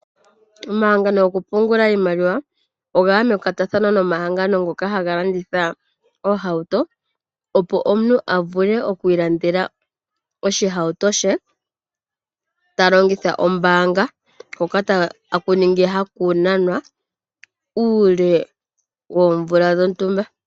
Omahangano gokupungula iimaliwa oga ya mekwatathano nomahangano ngoka haga landitha oohauto, opo omuntu a vule okwiilandela oshihawuto she, ta longitha ombaanga hoka taku kala haku nanwa uule woomvula dhontumba.